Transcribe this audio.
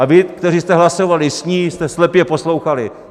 A vy, kteří jste hlasovali s ní, jste slepě poslouchali.